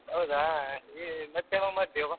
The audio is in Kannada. ಹೌದಾ ಮತ್ತೆ ಯಾವಾಗ ಮಾಡಿ ಪಾ?